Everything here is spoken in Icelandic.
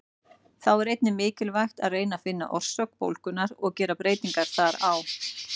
Þá er einnig mikilvægt að reyna að finna orsök bólgunnar og gera breytingar þar á.